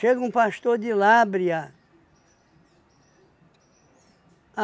Chega um pastor de Lábrea.